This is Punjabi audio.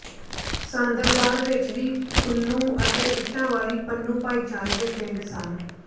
ਸਾਂਦਲਬਾਰ ਵਿੱਚ ਵੀ ਪੰਨੂੰ ਅਤੇ ਇੱਟਾਂ ਵਾਲੀ ਪੰਨੂੰ ਭਾਈਚਾਰੇ ਦੇ ਪਿੰਡ ਸਨ